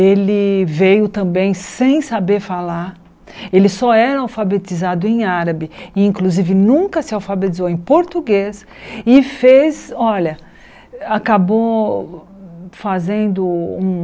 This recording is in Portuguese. ele veio também sem saber falar ele só era alfabetizado em árabe e inclusive nunca se alfabetizou em português e fez, olha acabou fazendo um